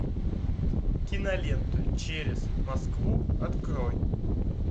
кинолента через москву открой